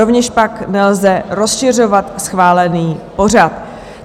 Rovněž tak nelze rozšiřovat schválený pořad.